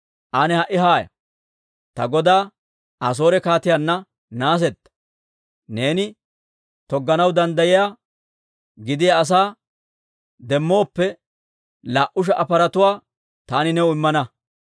«Ane ha"i haaya! Ta godaa Asoore kaatiyaanna naasetta. Neeni togganaw danddayiyaa, gidiyaa asaa demmooppe, laa"u sha"a paratuwaa taani new immana.